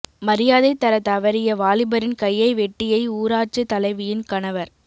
மரியாதை தர தவறிய வாலிபரின் கையை வெட்டியை ஊராட்சி தலைவியின் கணவர்